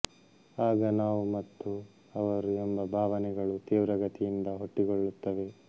ಆಗ ನಾವು ಮತ್ತು ಅವರು ಎಂಬ ಭಾವನೆಗಳು ತೀವ್ರಗತಿಯಿಂದ ಹುಟ್ಟಿಕೊಳ್ಳುತ್ತವೆ